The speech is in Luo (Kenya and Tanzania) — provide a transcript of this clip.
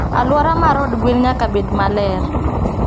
Aluora mar od gwen nyaka bed maler